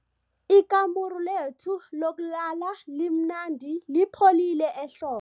Ikamuru lethu lokulala limnandi lipholile ehlo